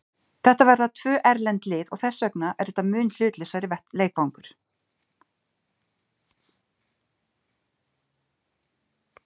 Þetta verða tvö erlend lið og þess vegna er þetta mun hlutlausari leikvangur.